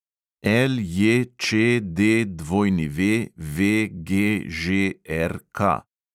LJČDWVGŽRK